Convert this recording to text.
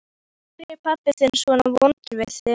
Af hverju er pabbi þinn svona vondur við þig?